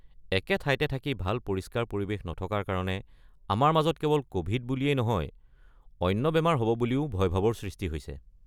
একে ঠাইতে থাকি ভাল পৰিস্কাৰ পৰিৱেশ নথকাৰ কাৰণে আমাৰ মাজত কেৱল ক’ভিড বুলিয়েই নহয়, অন্য বেমাৰ হ’ব বুলিও ভয়ভাৱৰ সৃষ্টি হৈছে।